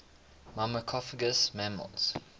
myrmecophagous mammals